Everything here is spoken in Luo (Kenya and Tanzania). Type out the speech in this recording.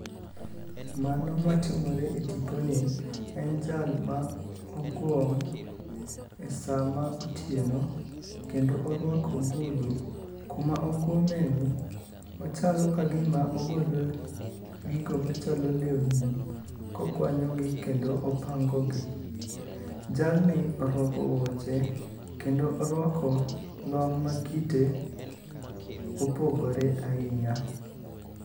Mano matimore e tiponi en jal ma ogwom e sama otieno kendo orwako ogudu. Kuma ogwomeni, ochalo ka gima ogolo gigo machalo lewni kokwanyogi kendo opangogi. Jalni orwako wuoche kendo orwako long' ma kite opogore ahinya.